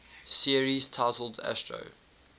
series titled astro